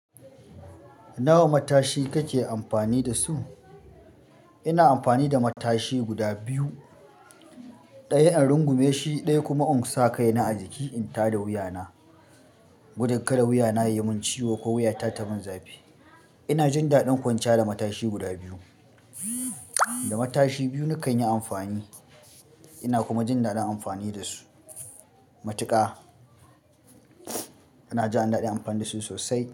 Nawa matashi kake amfani da su? Ina amfani da matashi guda biyu, ɗaya in rungume shi, ɗaya kuma in sa kai na a jiki in tare wuya na. Gudun ƙara wuya na yayi mun ciwo ko wuya ta ta mun zafi. Ina jin daɗin kwanciya da matashi guda biyu. Da matashi biyu nakan yi amfani ina kuma jin daɗin amfani da su. Matuka ina jin daɗin amfani da su sosai.